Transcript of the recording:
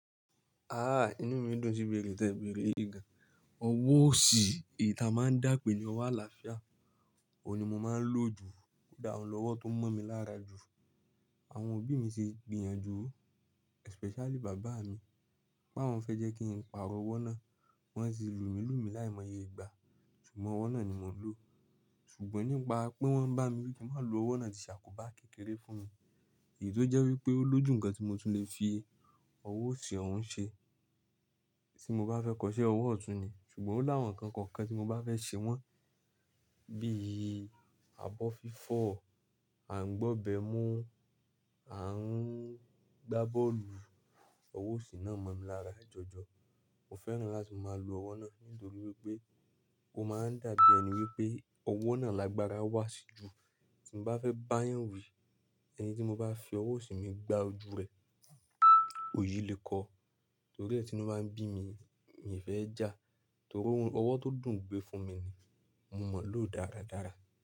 Ah! Inú mi dùn si ibeèrè tẹ bèrè yìgàn. Ọwọ́ òsì èyí ta máa ń dà pé ní ọwọ́ àlàáfíà, òun ni mo máa ń lò jù. Ko dà oun lọ́wọ́ tó mọ́ mi lára jù. Àwọn òbí mi ti gbìyànjú, especially bàbá mi, pé awọ́n fẹ́ jẹ́ kí n paarọ̀ ọwọ́ náà. Wọ́n ti lù mí lù mí láìmọye ìgbà. Ṣùgbọ́n ọwọ́ náà ni mò ń lò. Ṣùgbọ́n nípa pé wọ́n ń bá mi wí ki n má lò ọwọ́ náà ti ṣàkóbá kékeré fún mi. Èyí tó jẹ́ wípé ó lójú ǹkan tí mo tún lè fi ọwọ́ òsì ọ̀ún ṣe. Tí mo bá fẹ́ kọ iṣẹ́ ọwọ́ ọ̀tún ni, ṣùgbọ́n ó láwọn ǹkan kọ̀ọ̀kan tí mo bá fẹ́ ṣe wọ́n, bí i àbọ́ fífọ̀, à ń gbọ́bẹ̀ mu, à ń gbá bọ́ọ̀lù, ọwọ́ òsì náà mọ̀ mí lára jọjọ. Mo fẹ́ràn láti máa lò ọwọ́ náà nítorí wípé ó máa ń dà bí ẹni wípé ọwọ́ náà lágbára wá sí jù. Tí mo bá fẹ́ bá yàn wí, ẹnì tí mo bá fi ọwọ́ òsì mi gbá ojú rẹ̀, òyì le kọ̀. Torí ẹ́ ti inú báa ń bí mi, mi e fẹ́ já. Torí ówo n ọwọ́ tó dùn gbé fún mi ni. Mo mọ̀ lò dáradára.